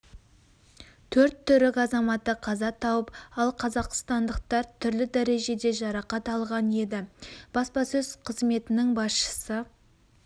төрт түрік азаматы қаза тауып ал қазақстандықтар түрлі дәрежеде жарақат алған еді баспасөз қызметінің басшысы